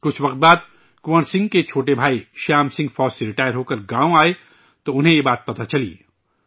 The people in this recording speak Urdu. کچھ عرصے بعد کنور سنگھ کے چھوٹے بھائی شیام سنگھ فوج سے ریٹائرہوکر گاؤں آئے، تو انہیں یہ بات پتہ چلی